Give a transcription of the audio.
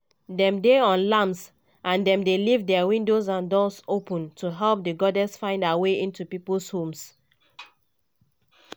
dem dey on lamps and dem dey leave dia windows and doors open to help di goddess find her way into pipo homes.